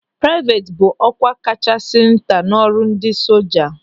Praivet bụ ọkwa kachasị nta n'ọrụ ndị soja.